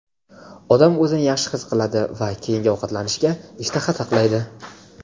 odam o‘zini yaxshi his qiladi va keyingi ovqatlanishga ishtaha saqlaydi.